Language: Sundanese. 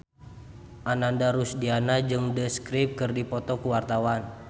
Ananda Rusdiana jeung The Script keur dipoto ku wartawan